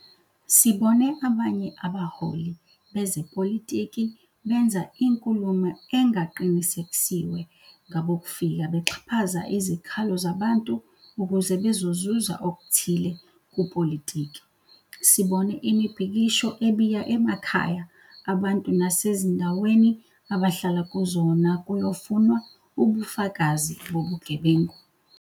Sibone abanye abaholi bezepolitiki benza inkulumo engaqinisekisiwe ngabokufika bexhaphaza izikhalo zabantu ukuze bezozuza okuthile kupolitiki. Sibone imibhikisho ebiya emakhaya abantu nasezindaweni abahlala kuzona kuyofunwa ubufakazi bobugebengu.